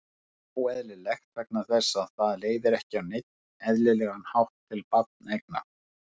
Það er óeðlilegt vegna þess að það leiðir ekki á neinn eðlilegan hátt til barneigna.